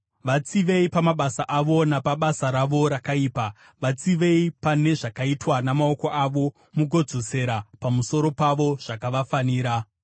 Vatsivei pamabasa avo napabasa ravo rakaipa, vatsivei pane zvakaitwa namaoko avo; mugodzosera pamusoro pavo zvakavafanira.